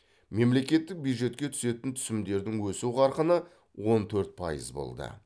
мемлекеттік бюджетке түсетін түсімдердің өсу қарқыны он төрт пайыз болды